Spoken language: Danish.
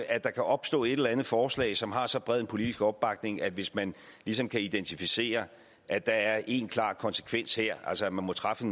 at der kan opstå et eller andet forslag som har så bred politisk opbakning at hvis man ligesom kan identificere at der er én klar konsekvens her altså at man må træffe